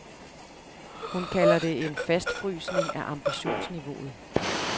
Hun kalder det en fastfrysning af ambitionsniveauet.